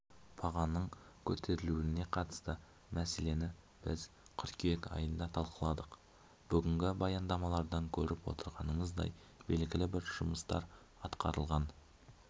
бағаның көтерілуіне қатысты мәселені біз қыркүйек айында талқыладық бүгінгі баяндамалардан көріп отырғанымыздай белгілі бір жұмыстар атқарылған